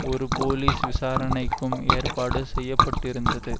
ஒரு போலீஸ் விசாரணைக்கும் ஏற்பாடு செய்ய பட்டிருந்தது